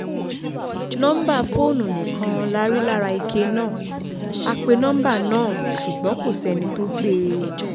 nọ́ńbà fóònù nìkan la rí lára ike náà a pe nọmba náà ṣùgbọ́n kò sẹ́ni tó gbé e